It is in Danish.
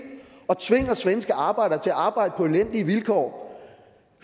og tvinger svenske arbejdere til at arbejde på elendige vilkår